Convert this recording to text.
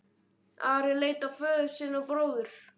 Ari leit á föður sinn og bróður.